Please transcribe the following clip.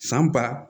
San ba